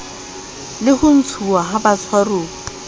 la ho ntshuwa ha batshwaruwa